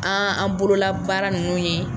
An an bolola baara nunnu ye.